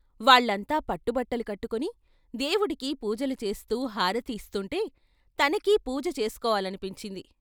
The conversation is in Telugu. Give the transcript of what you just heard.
వాళ్ళంతా పట్టుబట్టలు కట్టుకుని దేవుడికి పూజలు చేస్తూ హారతి ఇస్తుంటే తనకి పూజ చేసుకోవాలనిపించింది.